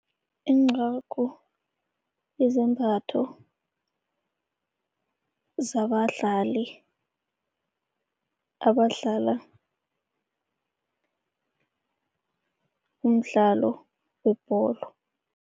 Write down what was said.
Incagu yizembatho zabadlali, abadlala umdlalo webholo.